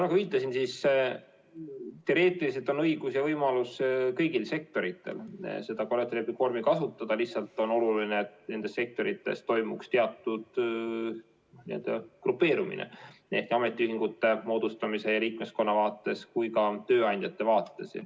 Nagu viitasin, siis teoreetiliselt on kõigil sektoritel õigus ja võimalus seda kollektiivlepingu vormi kasutada, lihtsalt on oluline, et nendes sektorites toimuks teatud grupeerumine nii ametiühingute moodustamise ja liikmeskonna vaates kui ka tööandjate vaates.